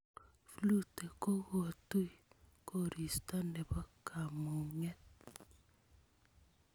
flute kokutei koristo Nepo kamunget